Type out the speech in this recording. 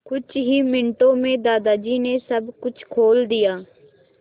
कुछ ही मिनटों में दादाजी ने सब कुछ खोल दिया